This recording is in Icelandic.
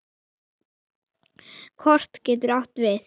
Kot getur átt við